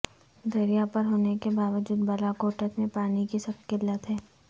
دریا پر ہونے کے باوجود بالاکوٹت میں پانی کی سخت قلت ہے